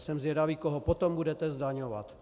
Jsem zvědavý, koho potom budete zdaňovat.